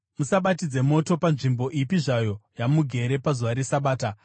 Musabatidze moto panzvimbo ipi zvayo yamugere pazuva reSabata.”